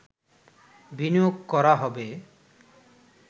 বিনিয়োগ করা হবে